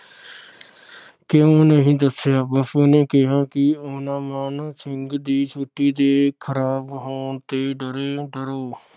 ਕਿਊ ਨਹੀਂ ਦਸਿਆ? ਬਾਪੂ ਨੇ ਕਿਹਾ ਕਿ ਓਹਨਾ ਮਾਣ ਸਿੰਘ ਦੀ ਛੁੱਟੀ ਦੇ ਖ਼ਰਾਬ ਹੋਣ ਤੇ ਡਰੇ ਡਰੋ